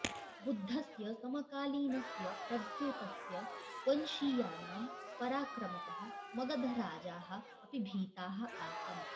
बुद्धस्य समकालीनस्य प्रद्योतस्य वंशीयानां पराक्रमतः मगधराजाः अपि भीताः आसन्